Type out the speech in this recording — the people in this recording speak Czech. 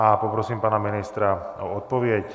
A poprosím pana ministra o odpověď.